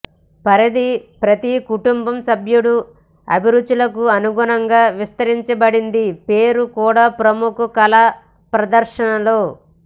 పరిధి ప్రతి కుటుంబం సభ్యుడు అభిరుచులకు అనుగుణంగా విస్తరించబడింది పేరు కూడా ప్రముఖ కళా ప్రదర్శనలు